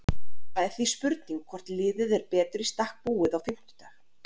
Það er því spurning hvort liðið er betur í stakk búið á fimmtudag?